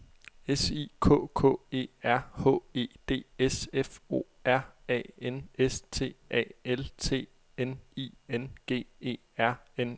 S I K K E R H E D S F O R A N S T A L T N I N G E R N E